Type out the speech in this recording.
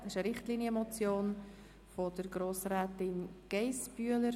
Es handelt sich um eine Richtlinienmotion von Grossrätin Geissbühler.